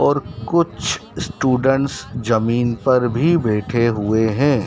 और कुछ स्टूडेंट्स जमीन पर भी बैठे हुए हैं।